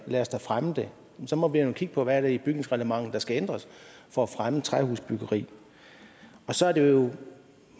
lad os da fremme det så må vi jo kigge på hvad det er i bygningsreglementet der skal ændres for at fremme træhusbyggeri og så er det jo